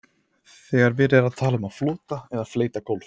þegar verið er að tala um flota eða fleyta gólf